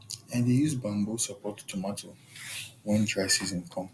i dey use bamboo support tomato when dry season come